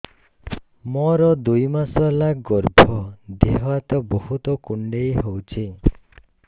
ମୋର ଦୁଇ ମାସ ହେଲା ଗର୍ଭ ଦେହ ହାତ ବହୁତ କୁଣ୍ଡାଇ ହଉଚି